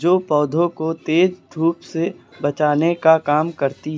जो पौधों को तेज धूप से बचाने का काम करती है।